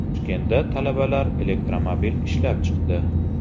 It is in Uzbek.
Toshkentda talabalar elektromobil ishlab chiqdi.